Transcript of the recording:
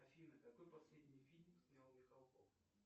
афина какой последний фильм снял михалков